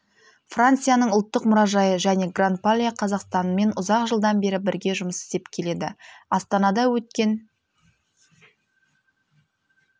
францияның ұлттық мұражайы және гран пале қазақстанмен ұзақ жылдан бері бірге жұмыс істеп келеді астанада өткен